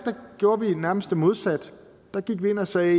gjorde vi nærmest det modsatte der gik vi ind og sagde